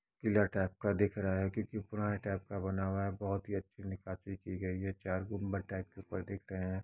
क़िला टाइप का दिख रहा है क्यूंकि पुराने टाइप का बना हुआ है | बहुत ही अच्छी नकाशी की गयी है चार गुम्बद टाइप के ऊपर दिख रहे हैं |